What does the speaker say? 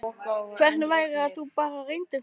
Hvernig væri að þú bara reyndir það?